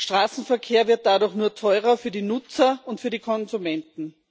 Straßenverkehr wird dadurch nur teurer für die Nutzer und für die Konsumenten.